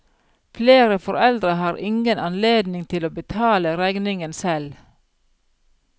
Flere foreldre har ingen anledning til å betale regningen selv.